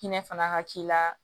Hinɛ fana ka k'i la